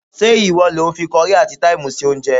Ṣé ìwọ lo fi kọrí àti táìmù sí oúnjẹ?